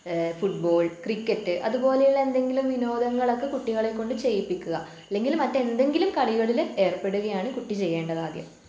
ഏഹ് football cricket അതുപോലെയുള്ള എന്തെങ്കിലും വിനോദങ്ങളൊക്കെ കുട്ടികളെ കൊണ്ട് ചെയ്യിപ്പിക്കുക. അല്ലെങ്കിൽ മറ്റെന്തെങ്കിലും കളികളില് ഏർപ്പെടുകയാണ് കുട്ടി ചെയ്യേണ്ടത് ആദ്യം.